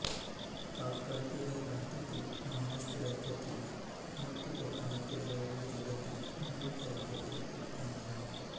काकळघर हे भारतातील महाराष्ट्र राज्यातील मध्य कोकणातील रायगड जिल्ह्यातील मुरूड तालुक्यातील एक गाव आहे